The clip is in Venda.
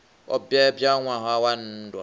o bebwa ṋwaha wa nndwa